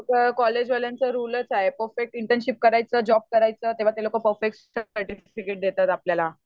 ते लोक कॉलेज वाल्यांचा रुलच आहे परफेक्ट इंटर्नशिप करायचं जॅाब करायचं तेंव्हाच ते लोकं परफेक्ट सर्टिफिकेट देतात आपल्याला